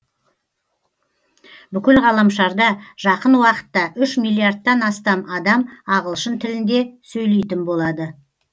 бүкіл ғаламшарда жақын уақытта үш миллиардтан астам адам ағылшын тілінде сөйлейтін болады